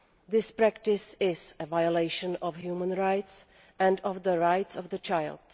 This practice is a violation of human rights and of the rights of the child.